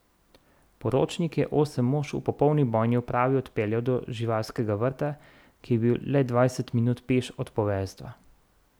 Poročnik je osem mož v popolni bojni opravi odpeljal do živalskega vrta, ki je bil le dvajset minut peš od poveljstva.